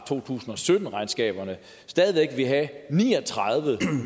to tusind og sytten regnskaberne stadig væk ville have ni og tredive